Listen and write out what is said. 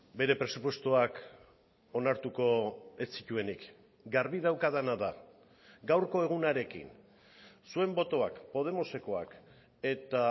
bere presupuestoak onartuko ez zituenik garbi daukadana da gaurko egunarekin zuen botoak podemosekoak eta